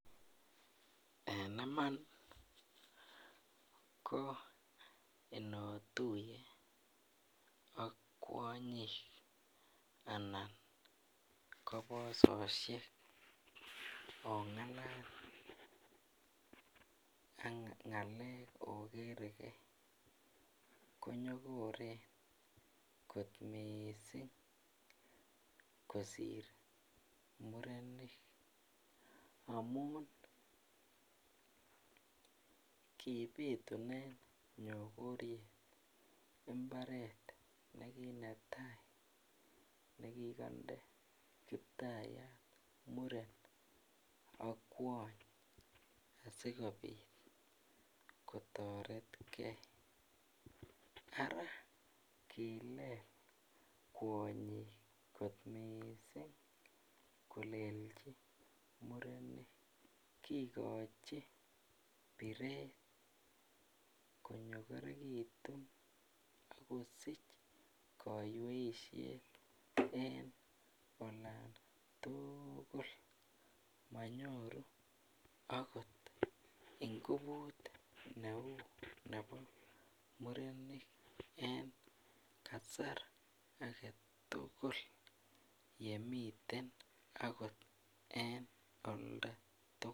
En iman koinotuye ak kwanyik anan kobososiek konyokoren inongalal ogere gee togoch missing kosir murenik amun kibitunen nyokoriet imbaret netai nekigoinde kiptayat muren ak kwony asikobit kotoret gee arakilel kwonyik kot missing kogochi biret koberberekitun akosich kaweisiet en olan tugul manyoru agot ingufut neu bebo murenik en kasar agetugul yemiten agot en aldotugul